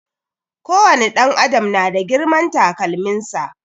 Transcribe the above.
Ko wani ɗan adam na da girman takalmin sa